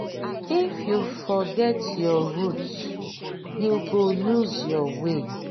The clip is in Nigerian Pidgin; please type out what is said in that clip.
if you forget your root you go loose your way.